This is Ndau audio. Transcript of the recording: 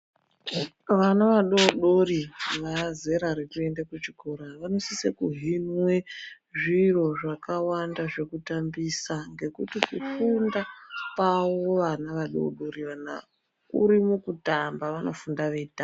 Vana vadodori vaazera rekuenda kuchikoro vanosise kuhinwe zviro zvakawanda zvekutambisa ngekuti kufunda kwavo vana vadodori vanava kuri mukutamba, vanofunda veitamba.